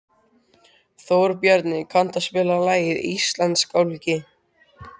Þórbjarni, kanntu að spila lagið „Íslandsgálgi“?